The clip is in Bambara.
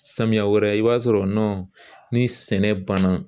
Samiyɛ wɛrɛ i b'a sɔrɔ ni sɛnɛ banna